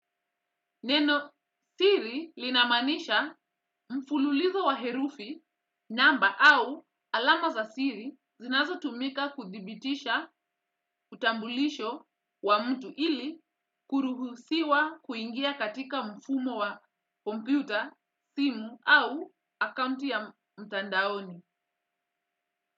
Neno siri linamanisha mfululizo wa herufi namba au alama za siri zinazotumika kuthibitisha utambulisho wa mtu ili kuruhusiwa kuingia katika mfumo wa kompyuta simu au akaunti ya mtandaoni.